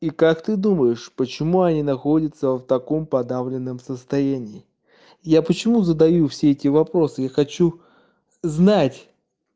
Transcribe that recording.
и как ты думаешь почему они находятся в таком подавленном состоянии я почему задаю все эти вопросы я хочу знать